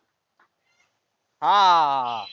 हा.